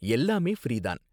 எல்லாமே ஃப்ரீ தான்